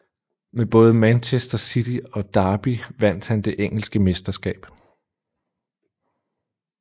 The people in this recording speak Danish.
Med både Manchester City og Derby vandt han det engelske mesterskab